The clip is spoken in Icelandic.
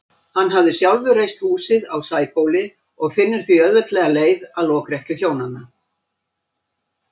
Hann hafði sjálfur reist húsið á Sæbóli og finnur því auðveldlega leið að lokrekkju hjónanna.